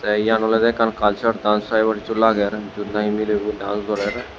tey iyan olodey ekkan culture dance dokkey hissu lager jiyot nahi milebo dance gorer.